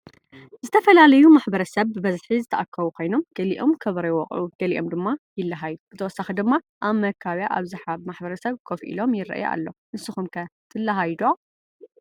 ዝተፈላለዮ ማሕበረሰብ ብበዝሕ ዝተአከቡ ከይኖም ገሊኦም ከበሮ ይወቅዑ ገሊኦም ድማ ይለሃዮ ብተወሳኪ ድማ አብ መካቢያ አብዝሐ ማሕበረሰብ ከፍ ኢሉ ይርኢ አሎ ። ንሱኩም ከ ትለሃዮ?